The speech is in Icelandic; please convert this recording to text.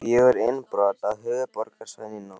Fjögur innbrot á höfuðborgarsvæðinu í nótt